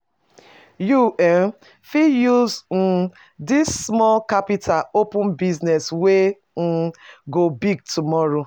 You um fit use um dis small capital open business wey um go big tomorrow.